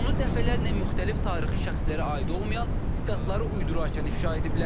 Onu dəfələrlə müxtəlif tarixi şəxslərə aid olmayan statları uydurarkən ifşa ediblər.